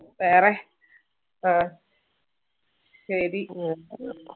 വേറെ വേ ശരി